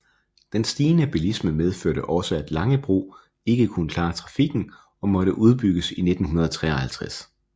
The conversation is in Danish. Den stigende bilisme medførte også at Langebro ikke kunne klare trafikken og måtte udbygges i 1953